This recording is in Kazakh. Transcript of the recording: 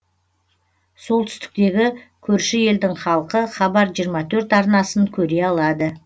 солтүстіктегі көрші елдің халқы хабар жиырма төрт арнасын көре алады